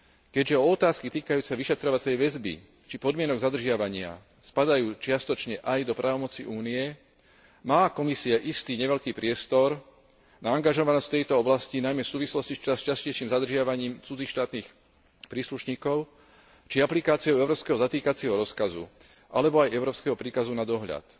Keďže o otázky týkajúce sa vyšetrovacej väzby či podmienok zadržiavania spadajú čiastočne aj do právomoci Únie, má Komisia istý neveľký priestor na angažovanosť v tejto oblasti, najmä v súvislosti s častejším zadržiavaním cudzích štátnych príslušníkov či aplikáciou európskeho zatýkacieho rozkazu alebo aj európskeho príkazu na dohľad.